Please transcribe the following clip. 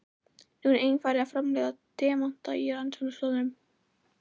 Nú er einnig farið að framleiða demanta í rannsóknastofum.